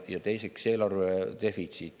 Ja teiseks on eelarve defitsiit.